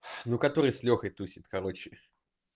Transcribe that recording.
ну который с лёхой тусит короче